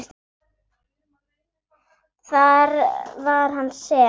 Og var það hann sem.?